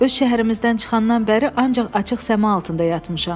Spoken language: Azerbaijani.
Öz şəhərimizdən çıxandan bəri ancaq açıq səma altında yatmışam.